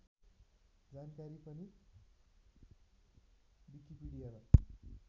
जानकारी पनि विकिपिडियामा